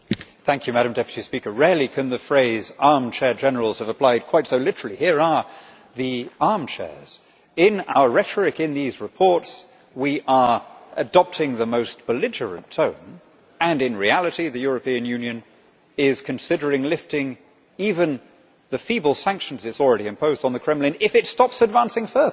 Madam President, rarely can the phrase armchair generals' have applied quite so literally. Here we have the armchairs, and in our rhetoric in these reports we are adopting the most belligerent tone when, in reality, the European Union is considering lifting even the feeble sanctions it has already imposed on the Kremlin if Russia stops advancing further.